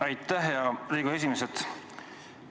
Aitäh, hea Riigikogu esimees!